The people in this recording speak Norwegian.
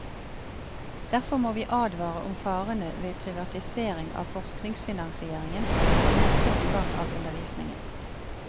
Derfor må vi advare om farene ved privatisering av forskningsfinansieringen og i neste omgang av undervisningen.